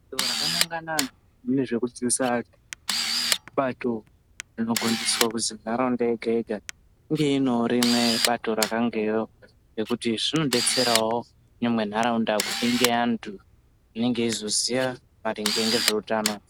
Bato rakanangana nezvekudzidzisa antu ibato rinogondiswa kuzi nharaunda yega yega inge inewo rimwe bato rakangero nekuti zvinodetserawo nyangwe nharaunda kuti ingeantu anenge eizoziya maringe ngezveutano.